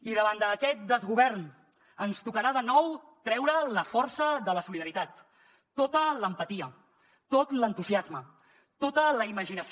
i davant d’aquest desgovern ens tocarà de nou treure la força de la solidaritat tota l’empatia tot l’entusiasme tota la imaginació